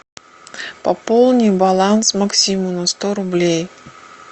пополни баланс максиму на сто рублей